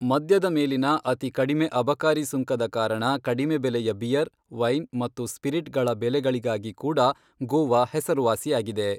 ಮದ್ಯದ ಮೇಲಿನ ಅತಿ ಕಡಿಮೆ ಅಬಕಾರಿ ಸುಂಕದ ಕಾರಣ ಕಡಿಮೆ ಬೆಲೆಯ ಬಿಯರ್, ವೈನ್ ಮತ್ತು ಸ್ಪಿರಿಟ್ಗಳ ಬೆಲೆಗಳಿಗಾಗಿ ಕೂಡ ಗೋವಾ ಹೆಸರುವಾಸಿಯಾಗಿದೆ.